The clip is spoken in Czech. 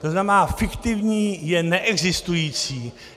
To znamená fiktivní je neexistující.